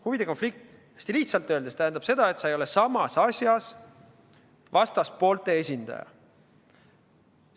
Huvide konflikt hästi lihtsalt öeldes tähendab seda, et sa võid samas asjas olla vastaspoolte esindaja.